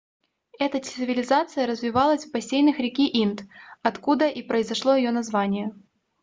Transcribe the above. эта цивилизация развивалась в бассейнах реки инд откуда и произошло её название